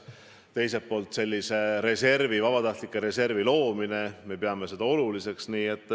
Teiselt poolt peame oluliseks vabatahtliku reservi loomist.